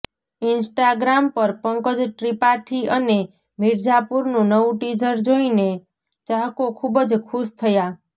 Instagram પર પંકજ ત્રિપાઠી અને મિર્ઝાપુરનું નવું ટીઝર જોઇને ચાહકો ખૂબ જ ખુશ થયા